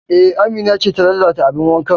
E, Amina ce ta lalata abin wankan